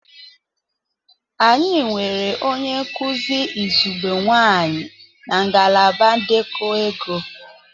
Anyị nwere onye nkuzi izugbe nwanyị na ngalaba ndekọ ego.